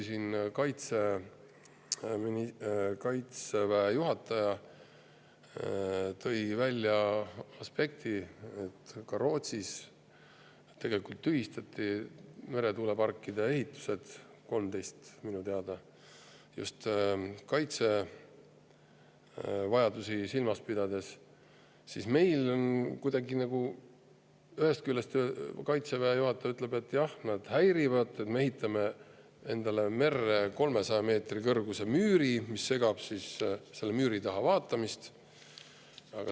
Kaitseväe juhataja tõi välja aspekti, et ka Rootsis tühistati tegelikult meretuuleparkide ehitused – neid oli 13 minu teada – just kaitsevajadusi silmas pidades, aga meil on see kuidagi nagu nii, et ühest küljest ütleb kaitseväe juhataja, et jah, nad häirivad, me ehitame endale merre 300 meetri kõrguse müüri, mis segab selle müüri taha vaatamist.